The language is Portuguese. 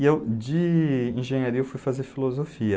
E eu, de engenharia, eu fui fazer filosofia.